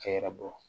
Cɛ yɛrɛ bɔ